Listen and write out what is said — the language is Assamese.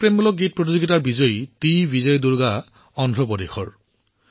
দেশপ্ৰেমমূলক গীত প্ৰতিযোগিতাৰ বিজয়ী টি বিজয় দুৰ্গাজী অন্ধ্ৰ প্ৰদেশৰ